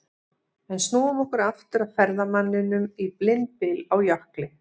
En snúum okkur aftur að ferðamanninum í blindbyl á jökli.